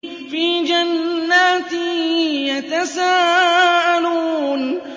فِي جَنَّاتٍ يَتَسَاءَلُونَ